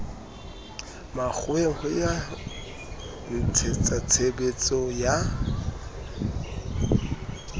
makgoweng ho ya ntshetsatshebetso ya